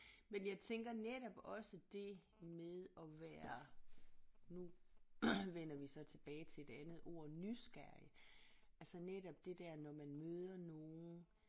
Men jeg tænker netop også det med at være nu vender vi så tilbage til det andet ord nysgerrig altså netop det der når man møder nogen